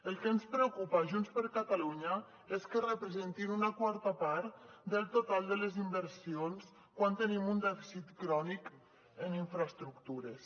el que ens preocupa a junts per catalunya és que representin una quarta part del total de les inversions quan tenim un dèficit crònic en infraestructures